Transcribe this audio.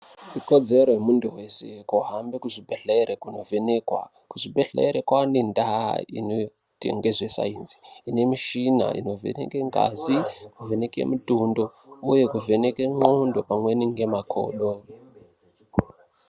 Ikodzero yemunthu wese kuhambe kuzvibhedhlere kundovhenekwa. Kuzvibhedhlere kwaane ndau inoita ngezvesainzi. Ine mishina inovheneke ngazi, kuvheneke mutundo, uye kuvheneke ngqondo pamweni ngemakodo.